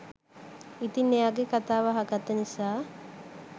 ඉතින් එයාගේ කතාව අහගත්ත නිසා